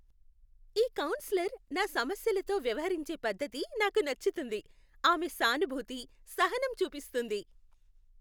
ఈ కౌన్సిలర్ నా సమస్యలతో వ్యవహరించే పద్ధతి నాకు నచ్చుతుంది. ఆమె సానుభూతి, సహనం చూపిస్తుంది.